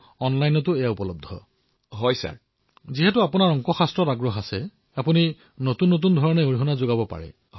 চাওক চিকিৎসক হোৱাটো ইমান সহজ নহয়